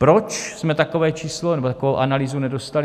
Proč jsme takové číslo nebo takovou analýzu nedostali?